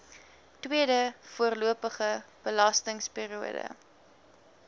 tweede voorlopige belastingperiode